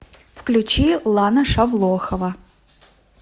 включи лана шавлохова